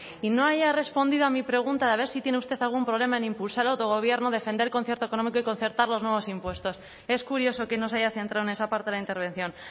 y no haya respondido a mi pregunta de a ver si tiene usted algún problema en impulsar el autogobierno defender el concierto económico y concertar los nuevos impuestos es curioso que no se haya centrado en esa parte de la intervención